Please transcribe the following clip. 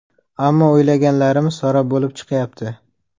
Ammo o‘ylaganlarimiz sarob bo‘lib chiqyapti.